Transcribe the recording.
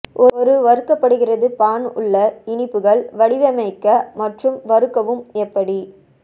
ஒரு வறுக்கப்படுகிறது பான் உள்ள இனிப்புகள் வடிவமைக்க மற்றும் வறுக்கவும் எப்படி